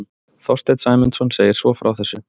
Þorsteinn Sæmundsson segir svo frá þessu: